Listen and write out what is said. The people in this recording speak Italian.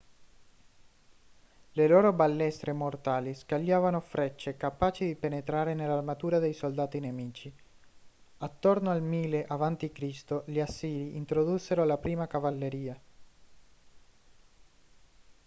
le loro balestre mortali scagliavano frecce capaci di penetrare nell'armatura dei soldati nemici attorno al 1000 a.c. gli assiri introdussero la prima cavalleria